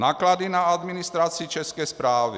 Náklady na administraci České správy.